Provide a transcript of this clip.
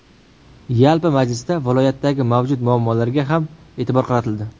Yalpi majlisda viloyatdagi mavjud muammolarga ham e’tibor qaratildi.